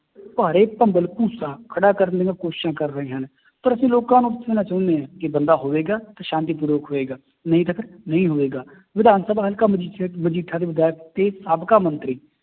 ਭਾੜੇ ਭੰਬਲ ਭੂਸਾ ਖੜਾ ਕਰਨ ਦੀਆਂ ਕੋਸ਼ਿਸ਼ਾਂ ਕਰ ਰਹੇ ਹਨ, ਪਰ ਅਸੀਂ ਲੋਕਾਂ ਨੂੰ ਪੁੱਛਣਾ ਚਾਹੁੰਦੇ ਹਾਂ ਕਿ ਬੰਦਾ ਹੋਵੇਗਾ ਤਾਂ ਸ਼ਾਂਤੀਪੂਰਵਕ ਹੋਵੇਗਾ ਨਹੀਂ ਤਾਂ ਫਿਰ ਨਹੀਂ ਹੋਵੇਗਾ, ਵਿਧਾਨਸਭਾ ਹਲਕਾ ਮਜੀਠਾ ਦੇ ਵਿਧਾਇਕ ਤੇ ਸਾਬਕਾ ਮੰਤਰੀ